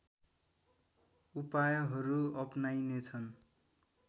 उपायहरू अपनाइनेछन्